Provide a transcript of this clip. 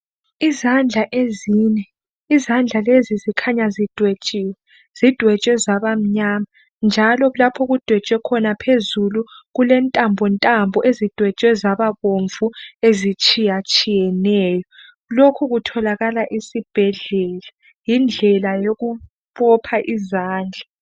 Izandla ezine izandla lezi zikhanya zidwetshiwe, zidwetshwe zaba mnyama njalo lapho okudwetshwe khona phezulu kulentambo ntambo ezidwetshwe zaba abomvu ezitshiya tshiyeneyo lokhu kutholakala esibhedlela yindlela yokubopha izandla.